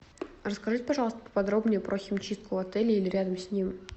расскажите пожалуйста поподробнее про химчистку в отеле или рядом с ним